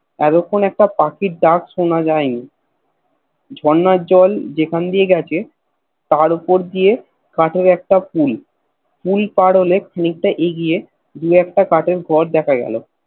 এতক্ষণ একটা পাখির ডাক সোনা যায়নি ঝর্ণার জল যেখান দিয়ে গেছে তার উপর দিয়ে কাঠের একটা Pool Pool পার হলে খানিকটা এগিয়ে দু একটা কাঠের ঘর দেখা গেল